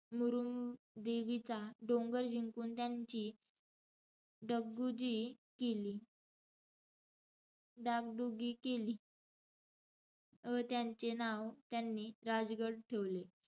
मुरुंबदेवीचा डोंगर जिंकून त्यांची डगडुजी केली. डागडुगी केली. व त्यांचे नाव त्यांनी राजगड ठेवले.